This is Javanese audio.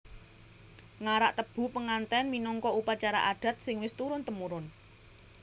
Ngarak tebu penganten minangka upacara adat sing wis turun temurun